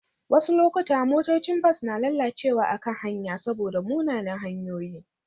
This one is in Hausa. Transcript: Wasu lokuta motocin bas na lalacewa a kan hanya saboda munanan hanyoyi